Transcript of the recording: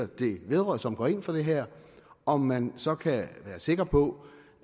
det vedrører og som går ind for det her om man så kan være sikker på